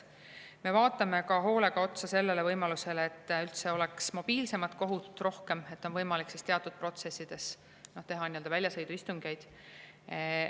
Me vaatame hoolega otsa ka sellele, et üldse oleks mobiilsemat kohut rohkem, et oleks võimalik teatud protsessides teha väljasõiduistungeid.